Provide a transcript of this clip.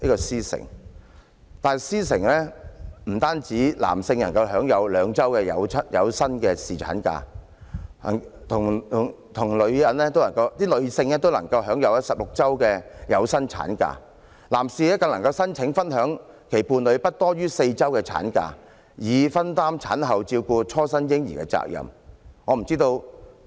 在"獅城"，男性能享有兩周的有薪侍產假，女性也享有16周的有薪產假，而男士更能申請分享其伴侶不多於4周的產假，以分擔產後照顧初生嬰兒的責任。